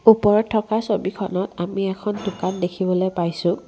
ওপৰত থকা ছবিখনত আমি এখন দোকান দেখিবলৈ পাইছোঁ।